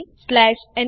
જોડાવા બદ્દલ આભાર